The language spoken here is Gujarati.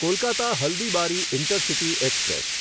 Kolkata Haldibari intercity express